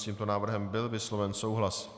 S tímto návrhem byl vysloven souhlas.